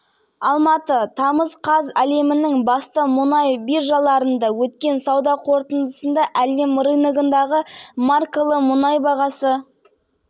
онлайн режимде өткен жиынға аймақтардың әкімдері қатысты берік имашев орталық сайлау комиссиясының төрағасы жақын айларда жеткізілетін